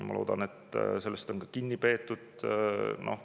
Ma loodan, et sellest on ka kinni peetud.